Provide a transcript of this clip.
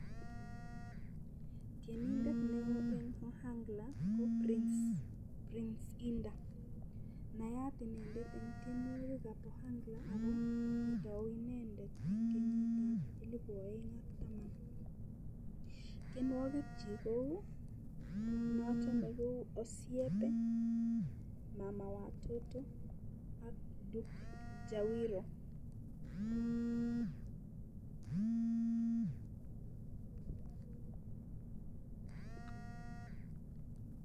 Tienindet neo eng ohangla ko price Indiah nayat inendet eng tyenwokik ab ohangla oko kotou inendet eng kenyit ab elibu oeng ak taman tienwokik chi kou noto ko osiepe mama watoto ak Duk jawiro